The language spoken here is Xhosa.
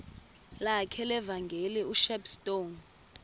lakhe levangeli ushepstone